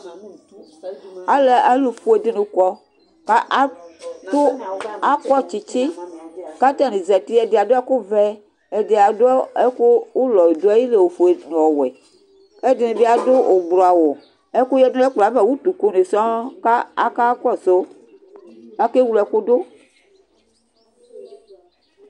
Alʋfue dini kɔ, kʋ akɔ tsitsi, kʋ atani zati Ɛdi adʋ ɛkʋvɛ, ɛdi adʋ ɛkʋ ʋlɔ dʋ ayili ofue nʋ ɔwɛ, kʋ ɛdini bi adʋ ʋblɔawa Ɛkʋ yadʋ nʋ ɛkplɔ yɛ ava Utu kʋ ni sɔŋ kʋ akakɔsʋ kʋ akewle ɛkʋdʋ